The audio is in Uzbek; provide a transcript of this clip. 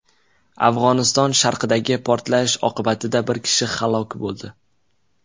Afg‘oniston sharqidagi portlash oqibatida bir kishi halok bo‘ldi.